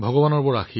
ভগৱানৰ কৃপা